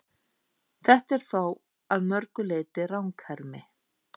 Þetta er þó að mörgu leyti ranghermi.